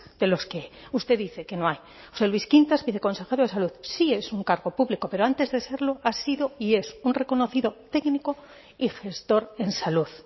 de los que usted dice que no hay josé luis quintas viceconsejero de salud sí es un cargo público pero antes de serlo ha sido y es un reconocido técnico y gestor en salud